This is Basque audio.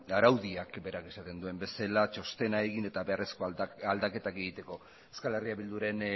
eta araudiak berak esaten duen bezala txostena egin eta beharrezko aldaketak egiteko euskal herria bilduren